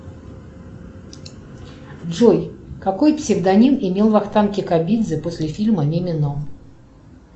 джой какой псевдоним имел вахтанг кикабидзе после фильма мимино